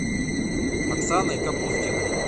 оксаной капустиной